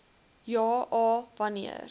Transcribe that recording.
ja a wanneer